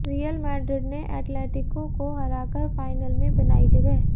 real Madrid ने Atletico को हराकर फाइनल में बनाई जगह